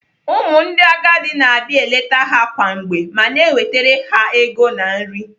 Ụmụ ndị agadi na-abia eleta ha kwa mgbe ma na-ewetara ha ego na nri.